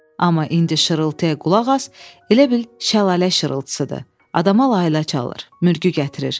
Amma indi şırıltıya qulaq as, elə bil şəlalə şırıltısıdır, adama layla çalır, mürgü gətirir.